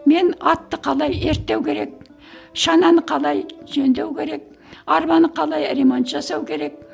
мен атты қалай ерттеу керек шананы қалай жөндеу керек арбаны қалай ремонт жасау керек